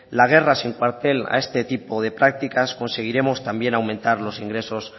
la guerra sin cuartel a este tipo de prácticas conseguiremos también aumentos los ingresos